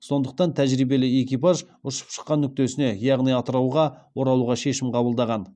сондықтан тәжірибелі экипаж ұшып шыққан нүктесіне яғни атырауға оралуға шешім қабылдаған